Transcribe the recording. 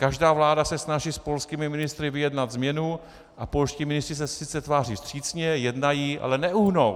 Každá vláda se snaží s polskými ministry vyjednat změnu a polští ministři se sice tváří vstřícně, jednají, ale neuhnou.